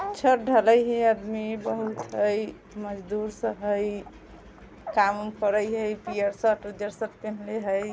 छत ढले या आदमी बहुत हई मजदूर सब हई काम-उम करै या पियर शर्ट उज्जर शर्ट पिन्हले हई।